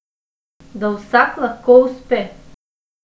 Da vsak lahko uspe.